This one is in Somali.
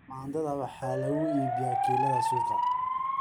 Tamaandhada waxaa lagu iibiyaa kiilada suuqa.